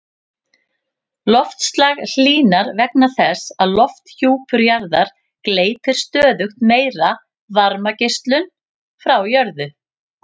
Loftslag hlýnar vegna þess að lofthjúpur jarðar gleypir stöðugt meiri varmageislun frá jörðu.